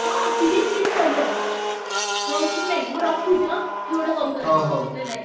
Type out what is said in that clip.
ହଁ tiffin meal ସବୁ ଅଛି। ହଉ ଶୁଣେ ମୁଁ ରଖୁଛି ଏଁ କିଏ ଗୋଟେ call କଲାଣି bye bye।